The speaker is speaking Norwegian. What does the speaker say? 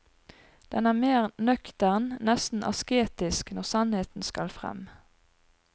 Den er mer nøktern, nesten asketisk, når sannheten skal fram.